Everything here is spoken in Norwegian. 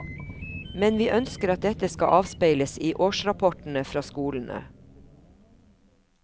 Men vi ønsker at dette skal avspeiles i årsrapportene fra skolene.